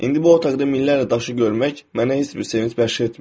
İndi bu otaqda minlərlə daşı görmək mənə heç bir sevinc bəxş etmir.